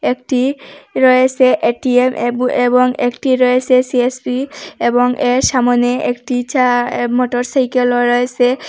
একটি রয়েসে এ_টি_এম এব এবং একটি রয়েসে সি_এস_সি এবং এর সামনে একটি চা এ মোটরসাইকেল রয়েসে।